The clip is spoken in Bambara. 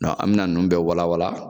An bɛna ninnu bɛɛ walawala